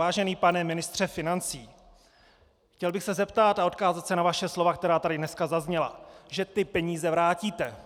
Vážený pane ministře financí, chtěl bych se zeptat a odkázat se na vaše slova, která tady dneska zazněla, že ty peníze vrátíte.